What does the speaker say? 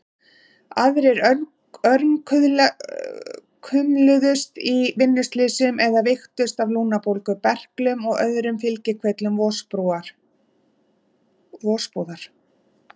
Aðrir örkumluðust í vinnuslysum eða veiktust af lungnabólgu, berklum og öðrum fylgikvillum vosbúðar.